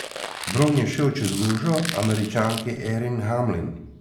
Bron je šel v čez lužo, Američanki Erin Hamlin.